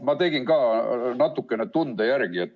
Ma tegin ka natukene tunde järgi.